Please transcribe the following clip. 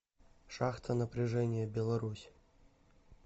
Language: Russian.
шахта напряжения беларусь